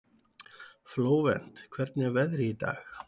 Flóvent, hvernig er veðrið í dag?